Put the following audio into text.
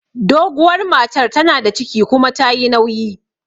Doguwar matar tana da ciki kuma tayi nauyi